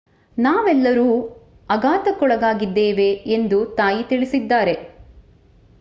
ನಾವೆಲ್ಲರೂ ಆಘಾತಕ್ಕೊಳಗಾಗಿದ್ದೇವೆ ಎಂದು ತಾಯಿ ತಿಳಿಸಿದ್ದಾರೆ